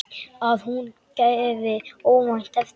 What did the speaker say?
Að hún gefi óvænt eftir.